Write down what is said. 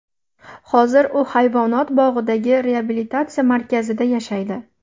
Hozir u hayvonot bog‘idagi reabilitatsiya markazida yashaydi.